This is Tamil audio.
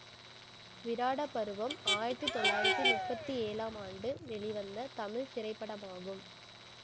விராட பருவம் ஆயிரத்தி தொள்ளாயிரத்தி முப்பத்தி ஏழாம் ஆண்டு வெளிவந்த தமிழ் திரைப்படமாகும்